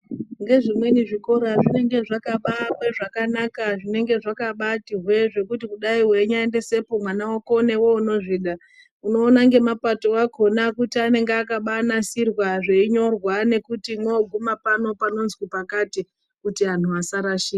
Nge zvimweni zvikora zvinenge zvaka baakwe zvakanaka zvenenge zvakabati hwee zvekuti kudai veinya mboendese po mwana vako neveve unozvida. Unoona ngemapato akona kuti akaba nasirwa zveinyorwa nekuti mwoguma pano panonzi pakati kuti antu asarashika.